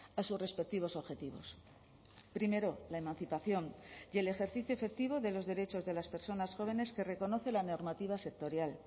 a sus respectivos objetivos primero la emancipación y el ejercicio efectivo de los derechos de las personas jóvenes que reconoce la normativa sectorial